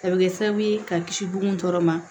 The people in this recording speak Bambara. A bɛ kɛ sababu ye ka kisi bon tɔ ma